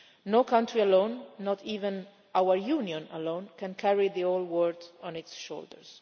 No country alone, not even our Union alone, can carry the whole world on its shoulders.